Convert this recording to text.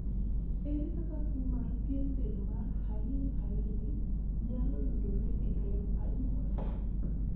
ere kaka tuo mar pien del mar hailey hailey nyalo yudore e remb anyuola?